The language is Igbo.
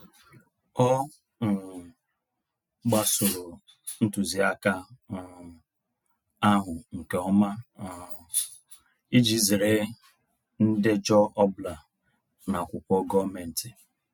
Ọ um gbasoro ntuziaka um ahụ nke ọma um iji zere ndejọ ọbụla n'akwụkwọ gọọmentị.